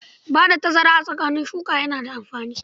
Ba da tazara tsakanin shuka yana da amfani.